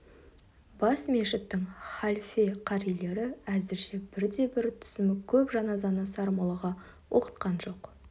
бас мешіттің халфе қарилері әзірше бірде-бір түсімі көп жаназаны сармоллаға оқытқан жоқ